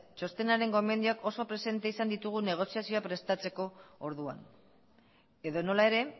txostenaren gomendioak oso presente izan ditugu negoziazioa prestatzeko orduan edonola ere